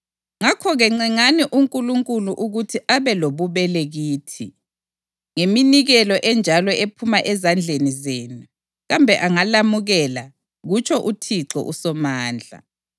“Ngakho-ke ncengani uNkulunkulu ukuthi abe lobubele kithi. Ngeminikelo enjalo ephuma ezandleni zenu, kambe angalamukela?” kutsho uThixo uSomandla.